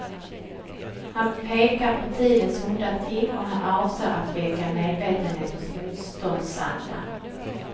Han pekar på tidens onda ting, och han avser att väcka medvetenhet och motståndsanda.